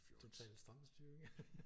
Total stram styring